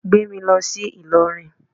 Gbé mi lọ sí Ìlọrin